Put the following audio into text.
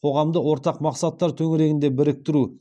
қоғамды ортақ мақсаттар төңірегінде біріктіру